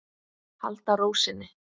Halda ró sinni.